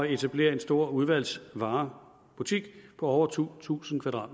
etablere en stor udvalgsvarebutik på over to tusind